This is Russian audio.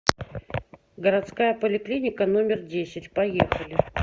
городская поликлиника номер десять поехали